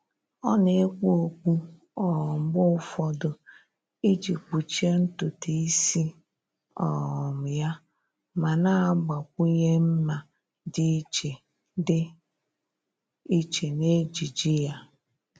Ọ́ nà-ekpu okpu um mgbe ụfọdụ iji kpuchie ntụtụ ísí um yá ma nà-àgbakwụnye mma dị iche dị iche n'ejiji yá.